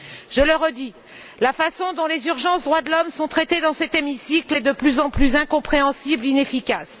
Je le redis, la façon dont les urgences liées aux droits de l'homme sont traitées dans cet hémicycle est de plus en plus incompréhensible et inefficace.